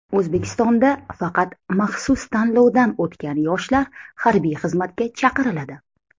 O‘zbekistonda faqat maxsus tanlovdan o‘tgan yoshlar harbiy xizmatga chaqiriladi.